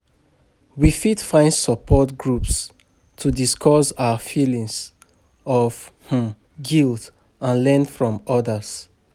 We fit find support groups to discuss our feelings of um guilt and learn from others.